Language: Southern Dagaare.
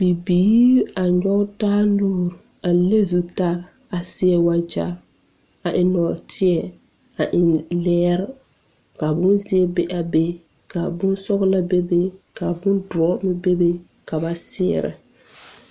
Bibiire a nyoge taa nuure a le zutarre a seɛ wagyɛrre a eŋ nɔɔteɛ a eŋ lɛɛre ka bonzeɛ be a be ka bonsɔglɔ bebe ka bondoɔ meŋ bebe ka ba seɛrɛ.